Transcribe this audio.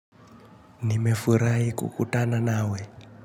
Nimefurai kukutana nawe.